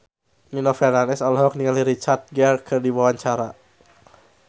Nino Fernandez olohok ningali Richard Gere keur diwawancara